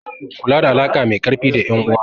Kula da alaƙa mai ƙarfi da ƴan uwa.